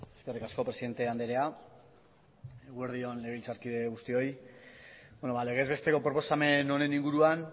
eskerrik asko presidente andrea eguerdi on legebiltzarkide guztioi legez besteko proposamen honen inguruan